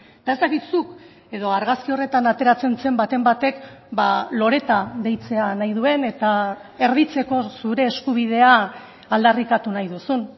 eta ez dakit zuk edo argazki horretan ateratzen zen baten batek loreta deitzea nahi duen eta erditzeko zure eskubidea aldarrikatu nahi duzun